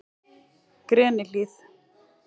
Grenihlíð